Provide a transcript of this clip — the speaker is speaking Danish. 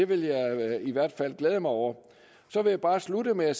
vil jeg i hvert fald glæde mig over så vil jeg bare slutte med at